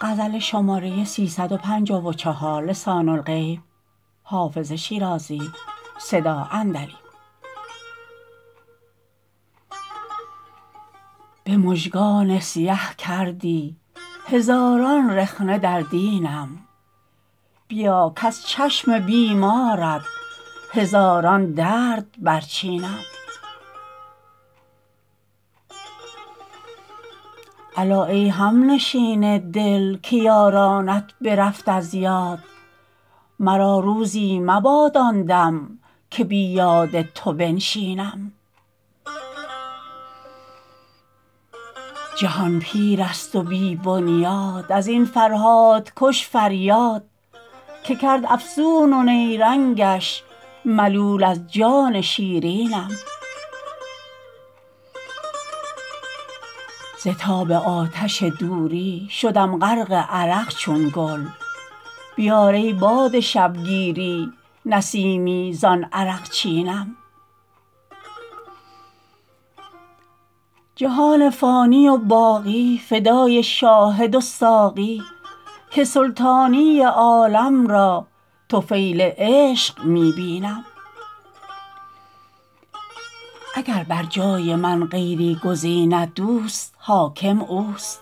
به مژگان سیه کردی هزاران رخنه در دینم بیا کز چشم بیمارت هزاران درد برچینم الا ای همنشین دل که یارانت برفت از یاد مرا روزی مباد آن دم که بی یاد تو بنشینم جهان پیر است و بی بنیاد از این فرهادکش فریاد که کرد افسون و نیرنگش ملول از جان شیرینم ز تاب آتش دوری شدم غرق عرق چون گل بیار ای باد شبگیری نسیمی زان عرقچینم جهان فانی و باقی فدای شاهد و ساقی که سلطانی عالم را طفیل عشق می بینم اگر بر جای من غیری گزیند دوست حاکم اوست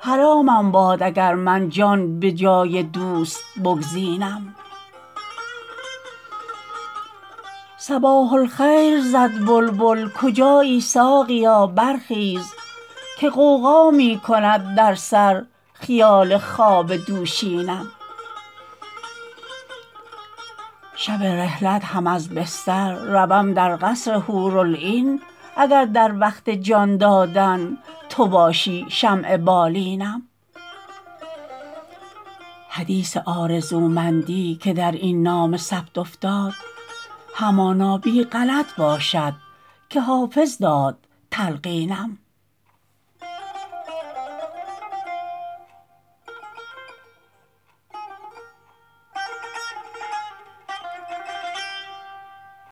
حرامم باد اگر من جان به جای دوست بگزینم صباح الخیر زد بلبل کجایی ساقیا برخیز که غوغا می کند در سر خیال خواب دوشینم شب رحلت هم از بستر روم در قصر حورالعین اگر در وقت جان دادن تو باشی شمع بالینم حدیث آرزومندی که در این نامه ثبت افتاد همانا بی غلط باشد که حافظ داد تلقینم